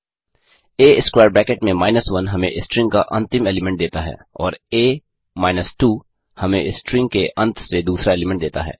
आ square bracket में minus 1 हमें string का अंतिम एलीमेंट देता है और a 2 हमें स्ट्रिंग के अंत से दूसरा एलीमेंट देता है